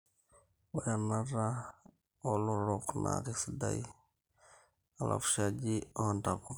Oree enata olotorok na kisaidia echavushajii oo ntapuka